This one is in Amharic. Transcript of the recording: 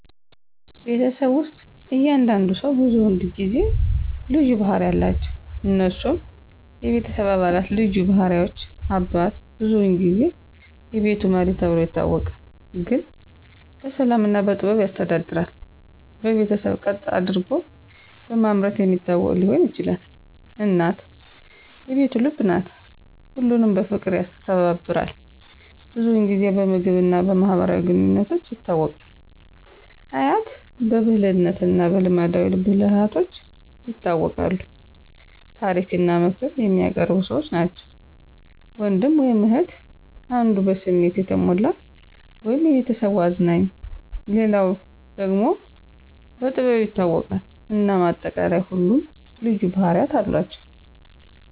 ቤተሰብ ውስጥ እያንዳንዱ ሰው ብዙውን ጊዜ በልዩ ባህሪ አለቸው። እነሱም፦ የቤተሰብ አባላት ልዩ ባህሪዎች • አባት : ብዙውን ጊዜ "የቤቱ መሪ" ተብሎ ይታወቃል፤ ግን በሰላም እና በጥበብ ያስተዳድራል። በቤተሰብ ቀጥ አደርጎ በማምረት የሚታወቅ ሊሆን ይችላል። • እናት : "የቤቱ ልብ" ናት፤ ሁሉንም በፍቅር ያስተባብራል። ብዙውን ጊዜ በምግብ እና በማህበራዊ ግንኙነቶች ይታወቃል። • አያት/አያት : በብልህነት እና በልማዳዊ ብልሃቶች ይታወቃሉ፤ ታሪክ እና ምክር የሚያቀርቡ ሰዎች ናቸው። • ወንድም/እህት : አንዱ በስሜት የተሞላ (የቤተሰቡ አዝናኝ)፣ ሌላው ደግሞ በጥበብ ይታወቃል። እናም በአጠቃላይ ሁሉም ልዩ ባህርያት አሏቸው።